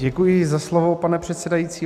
Děkuji za slovo, pane předsedající.